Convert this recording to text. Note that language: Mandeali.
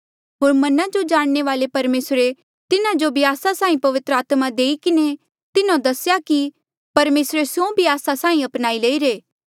होर मना जो जाणने वाले परमेसरे तिन्हा जो भी आस्सा साहीं पवित्र आत्मा देई किन्हें तिन्हो दसेया की परमेसरे स्यों भी आस्सा साहीं अपनाई लईरे